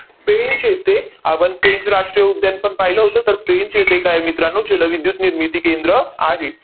पेंच येथे, आपण पेंच राष्ट्रीय उद्यान पण पाहिलं होतं. तर, पेंच येथे काय आहे मित्रांनो? जलविद्युत निर्मिती केंद्र आहे.